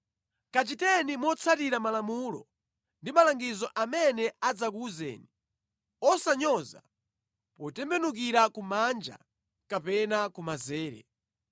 Kachiteni motsatira malamulo ndi malangizo amene adzakuwuzeni; osawanyoza, potembenukira kumanja kapena kumanzere.